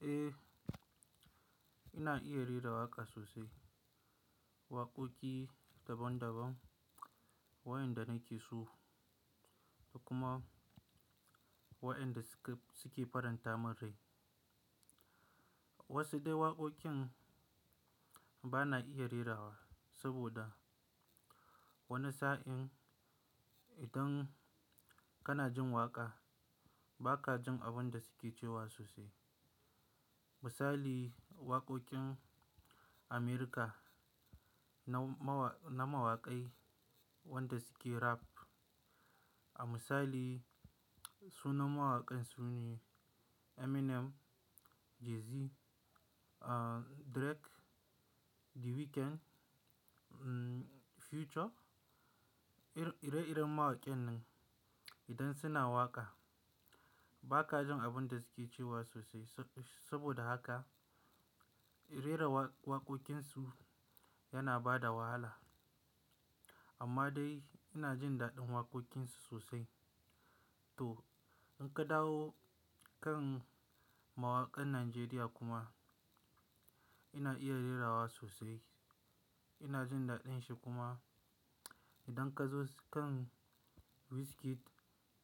Eh, ina iya rera waƙa sosai. Waƙoƙi daban daban waɗanda na ke so da kuma waɗanda suke faranta min rai. Wasu dai waƙoƙin ba na iya rerawa saboda wani sa'in idan kana jin waƙa ba ka jin abin da suke cewa sosai. Misali waƙoƙin America na mawakai wanda suke rap. A misali sunan mawakan su ne Eminem, Jay-Z, ah Drake, The Weeknd, mm Future. Ire-ire mawakan nan idan suna waƙa ba ka jin abin da suke cewa sosai. Saboda haka rerawa waƙoƙin su yana bada wahala. Amma dai ina jin daɗin waƙoƙin su sosai. To, in ka dawo kan mawakan Najeriya kuma ina iya rerawa sosai. Ina jin daɗin shi kuma idan ka zo kan Wizkid,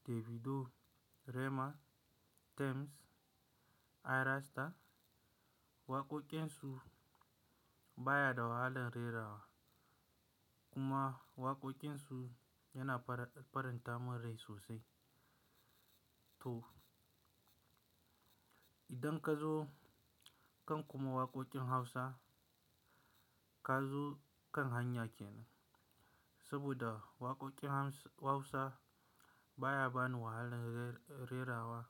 Davido, Rema, Tems, Ayra Starr, waƙoƙin su baya da wahalan rerawa kuma waƙoƙin su yana faranta min rai sosai. To, idan ka zo kan kuma waƙoƙin Hausa ka zo kan Hanyakena. Saboda waƙoƙin Hausa baya bani wahalan rerawa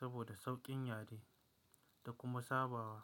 saboda sauƙin yadi da kuma sabawa.